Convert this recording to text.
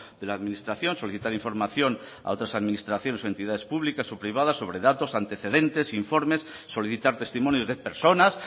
de la administración solicitar información a otras administraciones o entidades públicas o privadas sobre datos antecedentes informes solicitar testimonios de personas